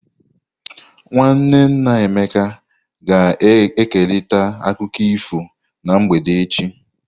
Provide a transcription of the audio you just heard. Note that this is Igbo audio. Nwanne nna Emeka ga-ekerịta akụkọ ifo na mgbede echi.